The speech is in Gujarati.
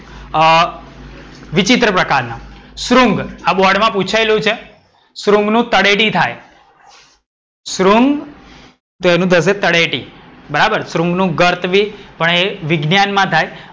અમ વિચિત્ર પ્રકારના. શૃંગ આ બોર્ડ માં પૂછયેલું છે. શૃંગ નું તળેટી થાય. શૃંગ તો એનું થશે તળેટી. બરાબર શૃંગ નું ગર્ત બી, પણ એ વિજ્ઞાન માં થાય.